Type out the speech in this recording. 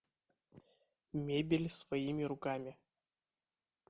мебель своими руками